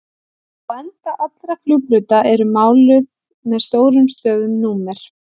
Á enda allra flugbrauta eru máluð með stórum stöfum númer.